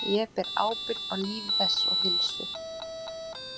Ég ber ábyrgð á lífi þess og heilsu.